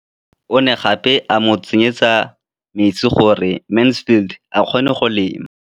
O ne gape a mo tsenyetsa metsi gore Mansfield a kgone go lema.